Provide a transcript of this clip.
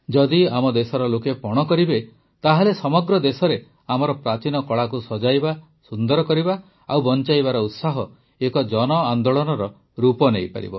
ଯଦି ଆମ ଦେଶର ଲୋକେ ପଣ କରିବେ ତାହେଲେ ସମଗ୍ର ଦେଶରେ ଆମର ପ୍ରାଚୀନ କଳାକୁ ସଜାଇବା ସୁନ୍ଦର କରିବା ଓ ବଂଚାଇବାର ଉତ୍ସାହ ଏକ ଜନଆନ୍ଦୋଳନର ରୂପ ନେଇପାରିବ